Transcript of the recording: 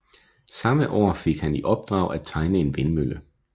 Samme år fik han i opdrag at tegne en vindmølle